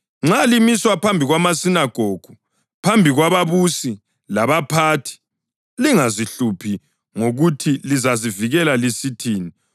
Nxa limiswa phambi kwamasinagogu, phambi kwababusi labaphathi, lingazihluphi ngokuthi lizazivikela lisithini kumbe ukuthi lizakuthini,